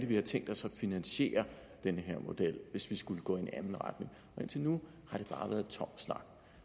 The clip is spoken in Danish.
de har tænkt sig at finansiere den her model hvis de skulle gå i en anden retning indtil nu har det bare været tom snak